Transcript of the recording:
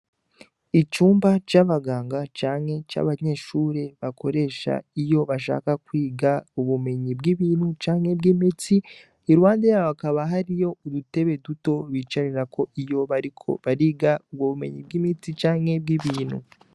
Icumba c'abaganga canke c'abanyeshure bakoresha iyo bashaka kwiga ubumenyi bw'ibintu canke bw'imitsi iruhande yaho hakaba hariyo udutebe duto bicarako iyo bariko bariga ubwo bumenyi bw'imiti canke bw'ibintu.